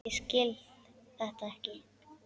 Ég skil þetta ekki!